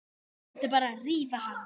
Hún mundi bara rífa hana.